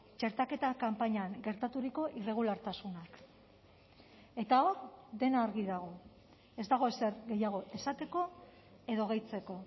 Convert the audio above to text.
txertaketa kanpainan gertaturiko irregulartasunak eta hor dena argi dago ez dago ezer gehiago esateko edo gehitzeko